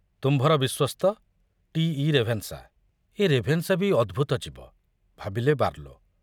ତୁମ୍ଭର ବିଶ୍ବସ୍ତ ଟି.ଇ.ରେଭେନଶା ଏ ରେଭେନଶା ବି ଅଦ୍ଭୁତ ଜୀବ, ଭାବିଲେ ବାର୍ଲୋ।